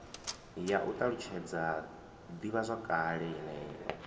ya u ṱalutshedza ḓivhazwakale yeneyo